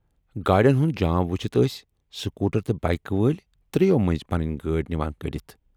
گاڑٮ۪ن ہُند جام وُچھِتھ ٲسۍ سکوٗٹر تہٕ بایکہٕ وٲلۍ ترٛیَو مٔنزۍ پنٕنۍ گٲڑۍ نِوان کٔڈِتھ۔